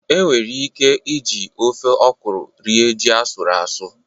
E nwere ike ị ji ofe ọkụrụ rie ji asụrụ asụ